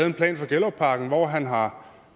en plan for gellerupparken hvor han har